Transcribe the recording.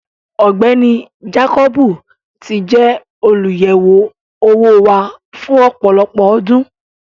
Ọgbẹni Jàkọbì tì jẹ olúyẹwo owó wà fún ọpọlọpọ ọ̀dún.